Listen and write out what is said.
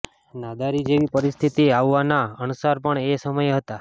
નાદારી જેવી પરિસ્થિતિ આવવાના અણસાર પણ એ સમયે હતા